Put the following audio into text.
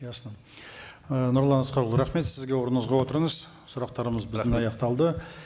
ясно ы нұрлан асқарұлы рахмет сізге орныңызға отырыңыз сұрақтарымыз біздің аяқталды